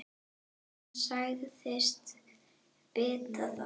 Hún sagðist vita það.